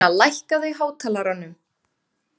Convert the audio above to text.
Ragna, lækkaðu í hátalaranum.